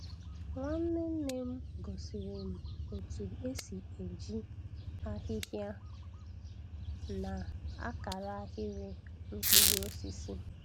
Nwanne nne m gosiri m otu esi eji ahịhịa na-akara ahịrị mkpụrụ osisi.